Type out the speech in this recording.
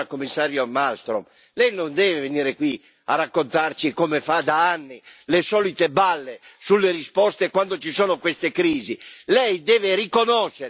E allora, cara signora commissario Malmström, Lei non deve venire qui a raccontarci, come fa da anni, le solite balle sulle risposte quando ci sono queste crisi.